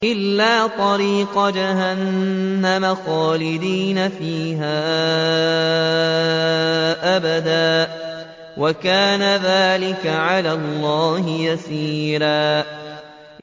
إِلَّا طَرِيقَ جَهَنَّمَ خَالِدِينَ فِيهَا أَبَدًا ۚ وَكَانَ ذَٰلِكَ عَلَى اللَّهِ يَسِيرًا